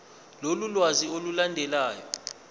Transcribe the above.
lolu lwazi olulandelayo